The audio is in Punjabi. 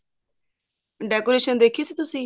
decoration ਦੇਖੀ ਸੀ ਤੁਸੀਂ